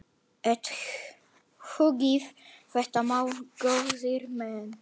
Athugið þetta mál, góðir menn!